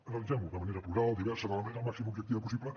analitzem ho de manera plural diversa de la manera el màxim d’objectiva possible